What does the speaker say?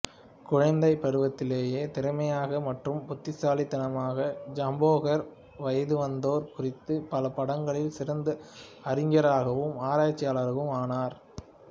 குழந்தை பருவத்திலிருந்தே திறமையான மற்றும் புத்திசாலித்தனமான ஜம்பேகர் வயதுவந்தோர் குறித்து பல பாடங்களில் சிறந்த அறிஞராகவும் ஆராய்ச்சியாளராகவும் ஆனார்